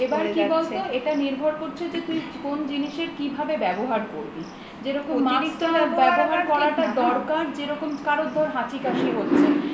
এবার কি বলত এটা নির্ভর করছে তুই কোন জিনিসের কিভাবে ব্যবহার করবি যেমন mask টা ব্যবহার করাটা দরকার যেরকম কারোর ধর হাঁচি কাশি হচ্ছে